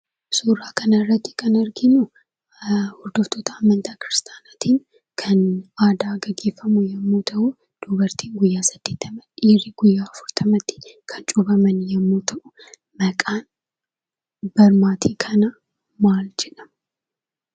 Suuraa kanarratti kan arginuu hordoftoota amantaa kiristaanaati. Kan aadaa gaggeeffamu yommuu ta'uu dubartiin guyyaa saddeettama dhiirri guyyaa afurtamatti kan cuubaman yommuu ta'uu maqaan barmaatii kanaa maal jedhama?